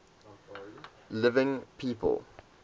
living people